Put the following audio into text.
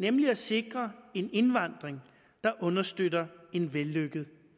nemlig at sikre en indvandring der understøtter en vellykket